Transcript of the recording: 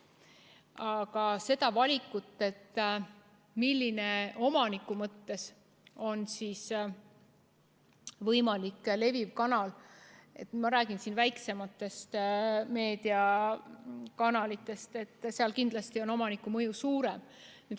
Aga seda valikut, milline on omaniku mõttes võimalik leviv kanal – ma räägin siin väiksematest meediakanalitest, seal kindlasti on omaniku mõju suurem.